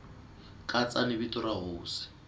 katsa ni vito ra hosi